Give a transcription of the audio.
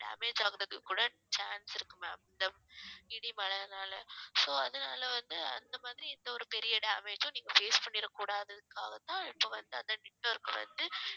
damage ஆகுறதுக்கு கூட chance இருக்கு ma'am இந்த இடி மழைன்னால so அதனால வந்து அந்த மாதிரி எந்த ஒரு பெரிய damage ம் நீங்க face பண்ணிறக் கூடாதுக்காகத்தான் இப்ப வந்து அந்த network வ வந்து